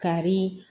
Kari